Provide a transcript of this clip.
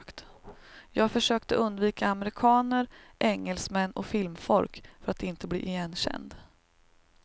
Jag försökte undvika amerikaner, engelsmän och filmfolk för att inte bli igenkänd.